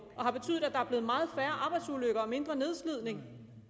har betydet at der er blevet meget færre arbejdsulykker og mindre nedslidning